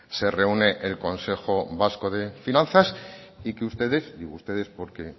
se reúne el consejo vasco de finanzas y que ustedes digo ustedes porque